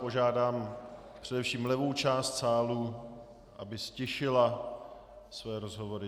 Požádám především levou část sálu, aby ztišila své rozhovory.